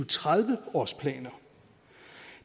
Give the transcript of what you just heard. tredive årsplaner